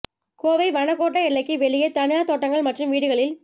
கோவை வனக் கோட்ட எல்லைக்கு வெளியே தனியாா் தோட்டங்கள் மற்றும் வீடுகளில்